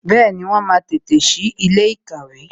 Bẹẹni, wọn máa tètè sí ilé ìkàwé